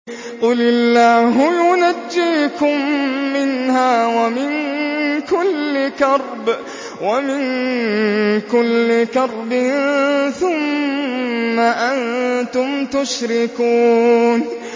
قُلِ اللَّهُ يُنَجِّيكُم مِّنْهَا وَمِن كُلِّ كَرْبٍ ثُمَّ أَنتُمْ تُشْرِكُونَ